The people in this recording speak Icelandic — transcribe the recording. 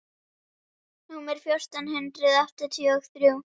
númer fjórtán hundruð áttatíu og þrjú.